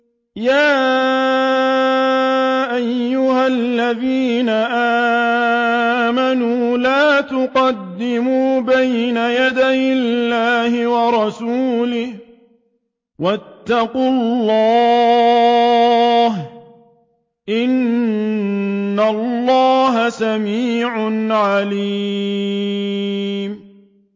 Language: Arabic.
يَا أَيُّهَا الَّذِينَ آمَنُوا لَا تُقَدِّمُوا بَيْنَ يَدَيِ اللَّهِ وَرَسُولِهِ ۖ وَاتَّقُوا اللَّهَ ۚ إِنَّ اللَّهَ سَمِيعٌ عَلِيمٌ